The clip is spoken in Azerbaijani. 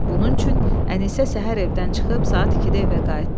Bunun üçün Ənisə səhər evdən çıxıb saat ikidə evə qayıtdı.